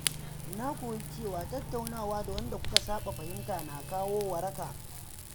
Na koyi cewa tattaunawa da wanda kuka saɓa fahimta na kawo waraka.